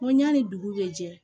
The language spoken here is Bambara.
N ko yanni dugu bɛ jɛ